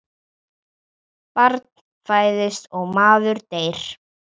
Barn fæðist og maður deyr.